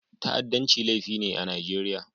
Ta'addanci laifi ne a Najeriya.